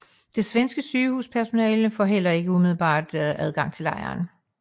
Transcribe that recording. Det svenske sygepersonale fik heller ikke umiddelbart adgang til lejren